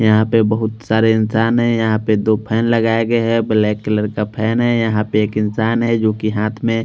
यहाँ पे बहुत सारे इंसान है यहाँ पे दो फैन लगाए गए है ब्लैक कलर का फैन है यहाँ पर एक इंसान है जो की हाथ में --